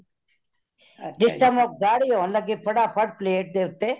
ਜਿਸ time ਗੱਡੀ ਹੋਣ ਲਗੇ ਫਤਾ ਫਟ plate ਦੇ ਉੱਤੇ